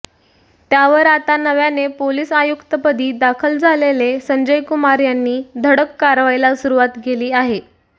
त्यावर आता नव्याने पोलीस आयुक्तपदी दाखल झालेले संजय कुमार यांनी धडक कारवाईला सुरूवात केली आहे